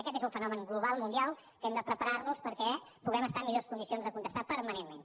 aquest és un fenomen global mundial que hem de preparar nos perquè puguem estar en millors condicions de contestar permanentment